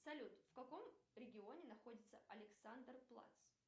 салют в каком регионе находится александр плац